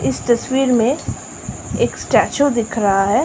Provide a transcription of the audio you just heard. इस तस्वीर में एक स्टेच्यू दिख रहा है।